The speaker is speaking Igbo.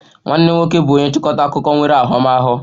Nwanne m nwoke bụ onye nchịkọta akụkọ nwere ahụmahụ